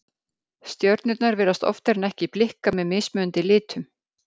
Stjörnurnar virðast oftar en ekki blikka með mismunandi litum.